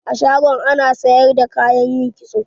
A shagon ana sayar da kayan yin kitso.